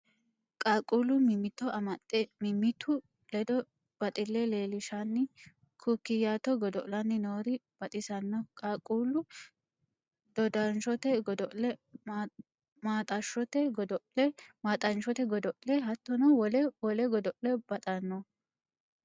Qaaqqullu mimmitto amaxe mimmitu ledo baxile leelishanni kukiyatto godo'lanni noori baxisano qaaqqulu dodashote godo'le, maaxashote godo'le hattono wo'le wole godo'le baxano.